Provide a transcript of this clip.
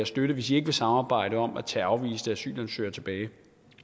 støtte hvis de ikke vil samarbejde om at tage afviste asylansøgere tilbage